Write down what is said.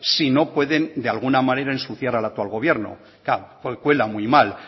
sino pueden de alguna manera ensuciar al actual gobierno claro cuela muy mal